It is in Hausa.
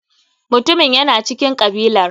Mutumin yana cikin kabilar.